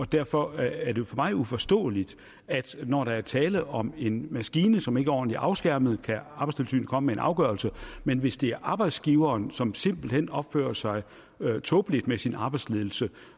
derfor er det for mig uforståeligt at når der er tale om en maskine som ikke er ordentligt afskærmet kan arbejdstilsynet komme med en afgørelse men hvis det er arbejdsgiveren som simpelt hen opfører sig tåbeligt med sin arbejdsledelse